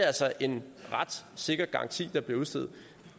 altså en ret sikker garanti der bliver udstedt